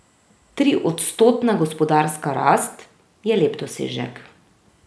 Triodstotna gospodarska rast je lep dosežek.